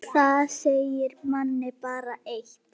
Það segir manni bara eitt.